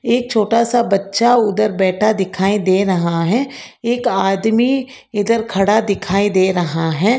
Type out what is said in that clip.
एक छोटा सा बच्चा उधर बैठा दिखाई दे रहा हैं एक आदमी इधर खड़ा दिखाई दे रहा है।